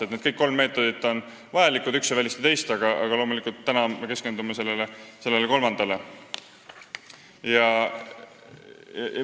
Kõik nimetatud kolm meetodit on vajalikud, üks ei välista teist, aga loomulikult me keskendume täna sellele kolmandale.